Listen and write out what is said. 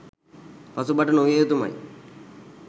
පසුබට නොවිය යුතුමයි